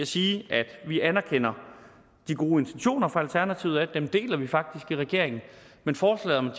sige at vi anerkender de gode intentioner fra alternativet dem deler vi faktisk i regeringen men forslaget om